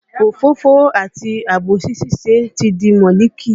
Òfófó àti àbòsí ṣíṣe ti di mọ́líkì